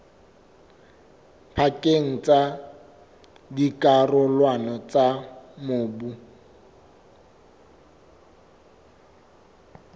pakeng tsa dikarolwana tsa mobu